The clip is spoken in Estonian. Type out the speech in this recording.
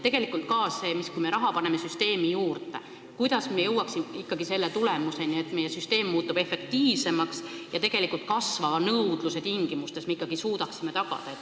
Tegelikult ka: kui me paneme süsteemi raha juurde, siis kuidas me ikkagi jõuame tulemuseni, et meie süsteem muutub efektiivsemaks ja me suudame ka kasvava nõudluse tingimustes tagada hea arstiabi?